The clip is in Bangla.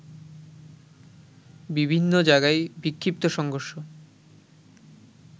বিভিন্ন জায়গায় বিক্ষিপ্ত সংঘর্ষ